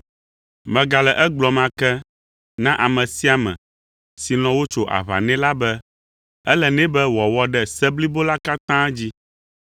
Megale egblɔm ake na ame sia ame si lɔ̃ wotso aʋa nɛ la be ele nɛ be wòawɔ ɖe se blibo la katã dzi.